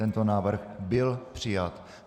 Tento návrh byl přijat.